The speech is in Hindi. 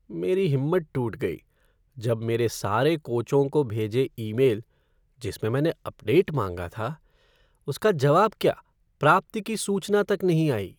मेरी हिम्मत टूट गई जब मेरे सारे कोचों को भेजे ईमेल, जिस में मैंने अपडेट माँगा था, उसका जवाब क्या, प्राप्ति की सूचना तक नहीं आई।